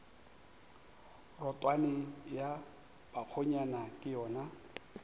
rotwane ya bakgonyana ke yona